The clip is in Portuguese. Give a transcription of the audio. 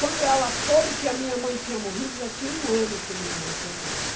Quando ela soube que a minha mãe tinha morrido, já tinha um ano que minha mãe tinha morrido.